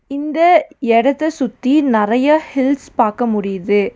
இந்த எடத்த சுத்தி நெறைய ஹில்ஸ் பாக்க முடியிது.